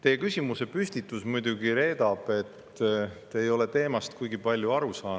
Teie küsimusepüstitus aga muidugi reedab, et te ei ole teemast kuigi palju aru saanud.